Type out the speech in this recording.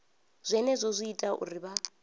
zwenezwo zwi ita uri vha